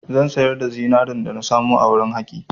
Zan sayar da zinarin dana samu a wurin haƙi.